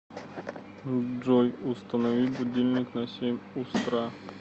джой установи будильник на семь устра